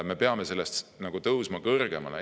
Me peame tõusma sellest kõrgemale.